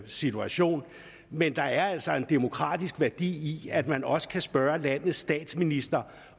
situation men der er altså en demokratisk værdi i at man også kan spørge landets statsminister